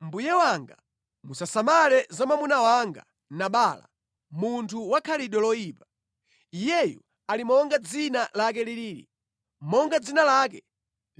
Mbuye wanga musasamale za mwamuna wanga Nabala, munthu wa khalidwe loyipa. Iyeyu ali monga dzina lake liliri. Monga dzina lake